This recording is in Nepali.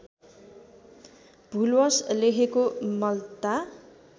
भुलवश लेखेको मल्ता